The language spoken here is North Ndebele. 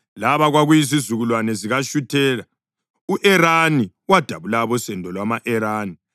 Laba kwakuyizizukulwane zikaShuthela: u-Erani wadabula abosendo lwama-Erani.